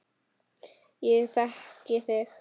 Ég þekki þig